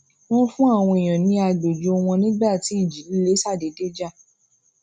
wón fún àwọn èèyàn ní agbojo wọn nígbà tí ìjì líle ṣàdédé jà